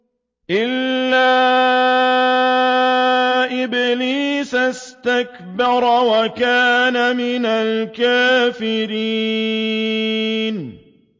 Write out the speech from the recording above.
إِلَّا إِبْلِيسَ اسْتَكْبَرَ وَكَانَ مِنَ الْكَافِرِينَ